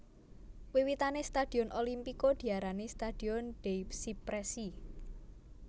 Wiwitane stadion Olimpico diarani Stadion dei Cipressi